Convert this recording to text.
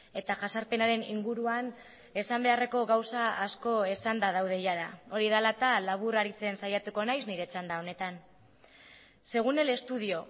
eta jazarpenaren inguruan esan beharreko gauza asko esanda daude jada hori dela eta labur aritzen saiatuko naiz nire txanda honetan según el estudio